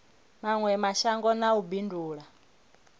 mawe mashango na u bindula